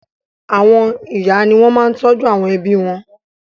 Àwọn ìyá ni wọ́n máa ń tọ́jú àwọn ẹbí wọn.